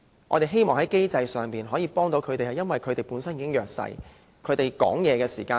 我們希望在機制上，可以幫助他們，因為他們本身已處於弱勢。